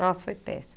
Nossa, foi péssimo.